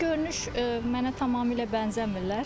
Xarici görünüş mənə tamamilə bənzəmirlər.